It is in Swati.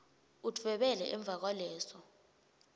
udvwebele emva kwaleso